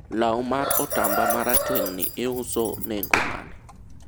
law mar otamba marateng'ni iuso nengo mane?